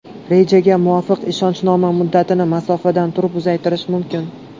Rejaga muvofiq, ishonchnoma muddatini masofadan turib uzaytirish mumkin.